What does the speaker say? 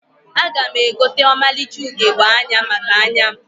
Aga m egote ọmalịcha ugegbe anya maka anya m